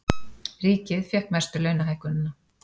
Ríkið fékk mestu launahækkunina